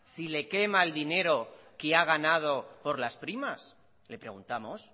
si le quema el dinero que ha ganado por las primas le preguntamos